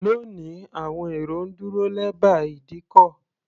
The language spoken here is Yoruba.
Lónìí, àwọn èrò ń dúró lẹ́bàá ìdíkọ̀.